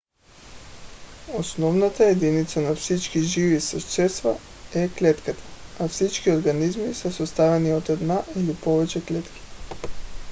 основната единица на всички живи същества е клетката а всички организми са съставени от една или повече клетки